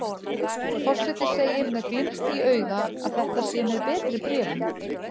Forseti segir með glimt í auga að þetta sé með betri bréfum.